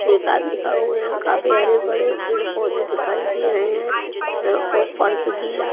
एक आदमी खड़ा हुए है काफी हरे बड़े पेड़ पौधे दिखाई दे रहे हैं अ और फर्श गीला --